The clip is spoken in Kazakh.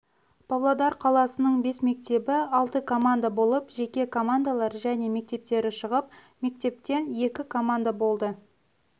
павлодар қаласының бес мектебі алты команда болып жеке қомандалар және мектептері шығып мектептен екі команда болды